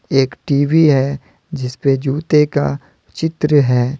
एक टी_वी है जिसपे जूते का चित्र है।